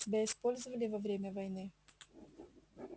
тебя использовали во время войны